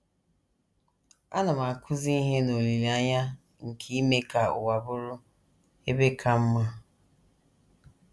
Ana m akụzi ihe n’olileanya nke ime ka ụwa bụrụ ebe ka mma. ”